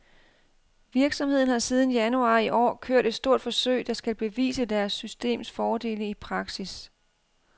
Virksomheden har siden januar i år kørt et stort forsøg, der skal bevise deres systems fordele i praksis.